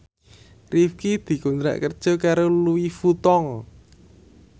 Rifqi dikontrak kerja karo Louis Vuitton